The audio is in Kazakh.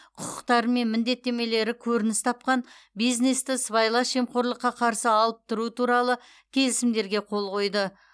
құқықтары мен міндеттемелері көрініс тапқан бизнесті сыбайлас жемқорлыққа қарсы алып тұру туралы келісімдерге қол қойды